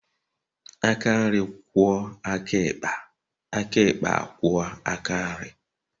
Aka nri kwuo aka ịkpa, aka ikpa a kwuo aka nri